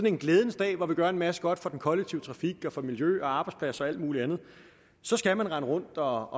en glædens dag hvor vi gør en masse godt for den kollektive trafik og for miljø og arbejdspladser og alt muligt andet så skal man rende rundt og